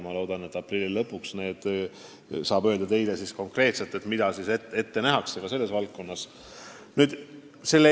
Ma loodan, et aprilli lõpus saab teile konkreetselt öelda, mida selles valdkonnas ette nähakse.